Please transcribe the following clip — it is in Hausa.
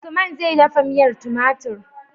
Usman zai dafa miyar tumatir